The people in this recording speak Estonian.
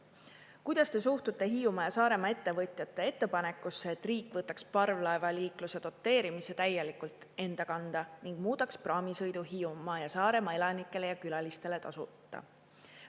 Kuidas te suhtute Hiiumaa ja Saaremaa ettevõtjate ettepanekusse, et riik võtaks parvlaevaliikluse doteerimise täielikult enda kanda ning muudaks praamisõidu Hiiumaa ja Saaremaa elanikele ja külalistele tasuta?